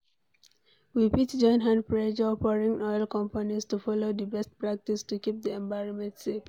We fit join hand pressure foreign oil companies to follow di best practice to keep di environment safe